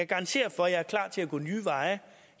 garantere for at jeg er klar til at gå nye veje